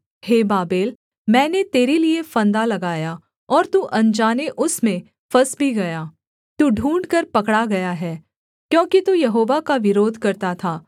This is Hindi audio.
हे बाबेल मैंने तेरे लिये फंदा लगाया और तू अनजाने उसमें फँस भी गया तू ढूँढ़कर पकड़ा गया है क्योंकि तू यहोवा का विरोध करता था